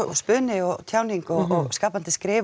spuni og tjáning og skapandi skrif